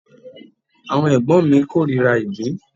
Àwọn ẹ̀gbọ́n mi korira ìgbín.